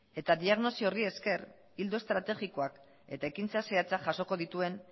eta diagnosi horri esker ildo estrategikoak eta ekintza zehatzak jasoko dituen